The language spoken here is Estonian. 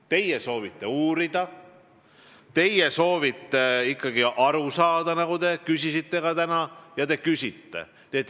Teie soovite uurida, teie soovite tõesti aru saada, nagu te ka täna ütlesite.